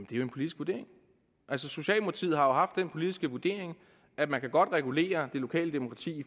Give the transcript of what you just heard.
jo en politisk vurdering altså socialdemokratiet har haft den politiske vurdering at man godt kan regulere det lokale demokrati